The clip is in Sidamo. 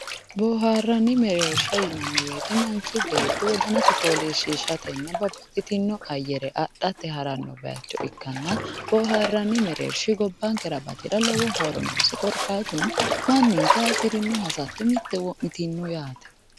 Booharanni mereersha yinnanni woyte manchi beetti wodanasi foolishishatenna babbaxitino ayare adhate harano bayicho ikkanna booharanni mereershi gobbankera lowo horo noosi korkaatuno manninke hasiirino hasatto mite wo'mitino yaate.